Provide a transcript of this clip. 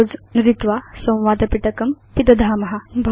close नुदित्वा संवादपिटकं पिदधाम